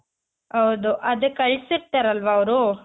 ಹೌದು ಅದು ಕಳ್ಸಿರ್ತಾರಲ್ವ ಅವ್ರು